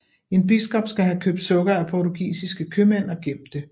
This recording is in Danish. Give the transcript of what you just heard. En biskop skal have købt sukker af portugisiske købmænd og gemt det